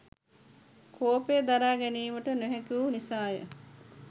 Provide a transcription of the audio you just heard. කෝපය දරා ගැනීමට නොහැකිවූ නිසාය.